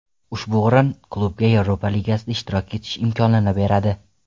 Ushbu o‘rin klubga Yevropa Ligasida ishtirok etish imkonini beradi.